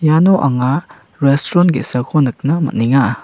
iano anga restron ge·sako nikna man·enga.